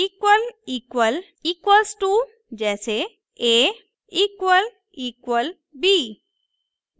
== equals to जैसे a==b